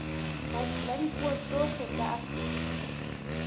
la dipuo tsohle tsa afrika